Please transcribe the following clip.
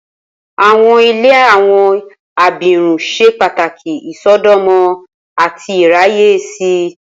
Awọn ile awọn abirun ṣe pataki isọdọmọ ati iraye si.